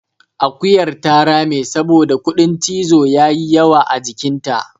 akuyar ta rame saboda kuɗin cizo ya yi yawa a jikinta